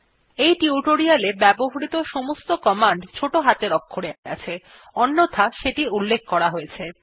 এই টিউটোরিয়ালটিতে ব্যবহৃত সমস্ত র্নিদেশাবলী ছোট হাতের অক্ষরে আছে অন্যথায় সেটি উল্লেখ করা হয়েছে